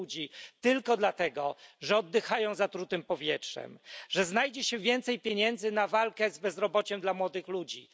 ludzi tylko dlatego, że oddychają zatrutym powietrzem, że znajdzie się więcej pieniędzy na walkę z bezrobociem dla młodych ludzi.